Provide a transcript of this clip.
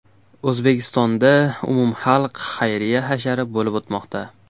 O‘zbekistonda umumxalq xayriya hashari bo‘lib o‘tmoqda.